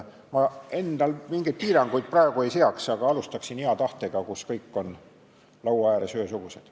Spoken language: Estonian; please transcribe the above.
Ma mingeid piiranguid praegu ei seaks, aga alustaksin hea tahtega, kus kõik on laua ääres ühesugused.